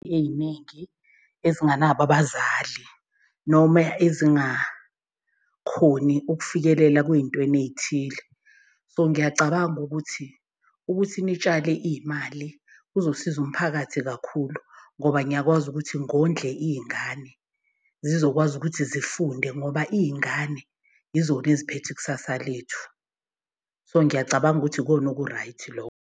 Ey'ningi ezinganabo abazali noma ezingakhoni ukufikelela kwey'ntweni ey'thile. So ngiyacabanga ukuthi, ukuthi nitshale iy'mali kuzosiza umphakathi kakhulu ngoba ngiyakwazi ukuthi ngondle iy'ngane. Zizokwazi ukuthi zifunde ngoba iy'ngane yizona eziphethwe ikusasa lethu. So ngiyacabanga ukuthi ikona oku-right .